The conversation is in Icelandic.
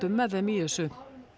með þeim í þessu